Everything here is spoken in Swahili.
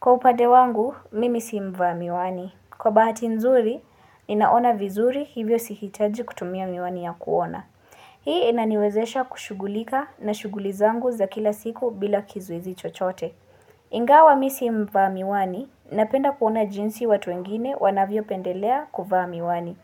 Kwa upade wangu, mimisi mva miwani. Kwa baati nzuri, ninaona vizuri hivyo sihitaji kutumia miwani ya kuona. Hii inaniwezesha kushughulika na shuguli zangu za kila siku bila kizuizi chochote. Ingawa misi mva miwani, napenda kuona jinsi watu wengine wanavyo pendelea kufa miwani.